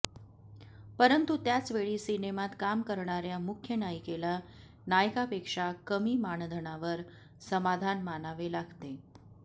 परंतु त्याचवेळी सिनेमात काम करणाऱ्या मुख्य नायिकेला नायकापेक्षा कमी मानधनावर समाधान मानावे लागते